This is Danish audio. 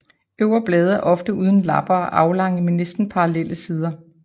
De øvre blade er ofte uden lapper og aflange med næsten parallelle sider